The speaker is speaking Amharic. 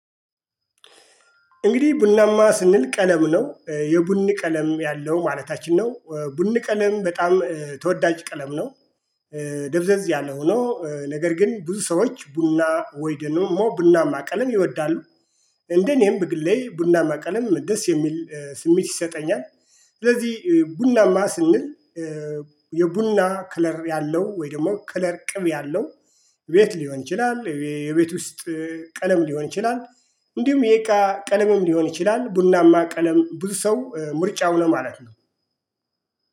እንግዲህ ቡናማ ስንል ቀለም ነው የቡኒ ቀለም ያለው ማለታችን ነው ቡኒ ቀለም በጣም ተወዳጅ ቀለም ነው። ደብዘዝ ያለው ሆኖ ነገር ግን ብዙ ሰዎች ቡና ወይ ደግሞ ቡናማ ቀለም ይወዳሉ። እንደ እኔም በግሌ ቡናማ ቀለም ደስ የሚል ስሜት ይሰጠኛል። ስለዚህ ቡናማ ስንል የቡና ክለር ያለው ወይ ደግሞ ከለር ቅብ ያለው ቤት ሊሆን ይችላል የቤት ውስጥ ቀለም ሊሆን ይችላል። እንዲሁም የእቃ ቀለምም ሊሆን ይችላል ቡናማ ቀለም ብዙ ሰው ምርጫው ነው ማለት ነው